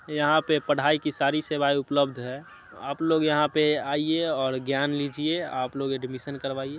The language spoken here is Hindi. यहाँ पे पढाई की सारी सेवाएं उपलब्ध हैं। आपलोग यहाँ पे आइये और ज्ञान लीजिये आपलोग एडमिस्शन करवाइये।